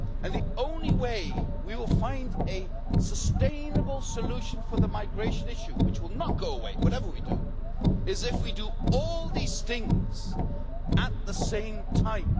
The only way we will find a sustainable solution for the migration issue which will not go away, whatever we do is if we do all these things at the same time.